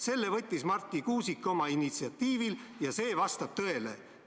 Selle võttis Marti Kuusik oma initsiatiivil ja see vastab tõele.